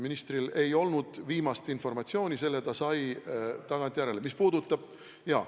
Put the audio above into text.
Ministril ei olnud viimast informatsiooni, selle ta sai tagantjärele.